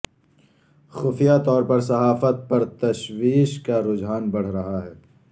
خفیہ طور پر صحافت پر تشویش کا رجھان بڑھ رہا ہے